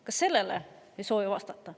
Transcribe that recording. Ka sellele ei soovita vastata.